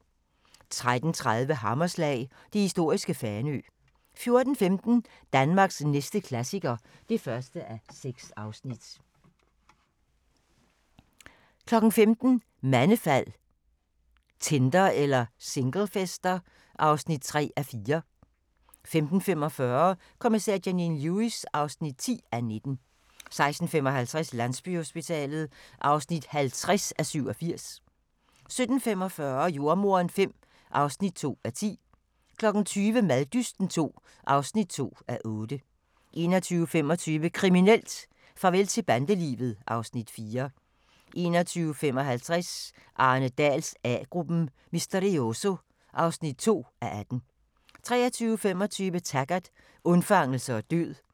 13:30: Hammerslag – det historiske Fanø 14:15: Danmarks næste klassiker (1:6) 15:00: Mandefald – Tinder eller singlefester? (3:4) 15:45: Kommissær Janine Lewis (10:19) 16:55: Landsbyhospitalet (50:87) 17:45: Jordemoderen V (2:10) 20:00: Maddysten II (2:8) 21:25: Kriminelt: Farvel til bandelivet (Afs. 4) 21:55: Arne Dahls A-gruppen: Misterioso (2:18) 23:25: Taggart: Undfangelse og død